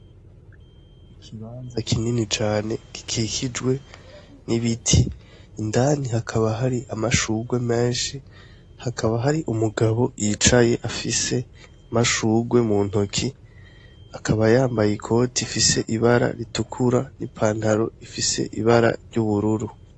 Ikibaza kinini cane gikikijwe n'ibiti indani hakaba hari amashugwe menshi hakaba hari umugabo yicaye afise amashugwe mu ntoki akaba yambaye i koti ifise ibara ritukura n'ipantaro ifise ibara ry'ubururu.